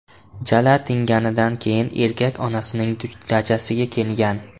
Jala tinganidan keyin erkak onasining dachasiga kelgan.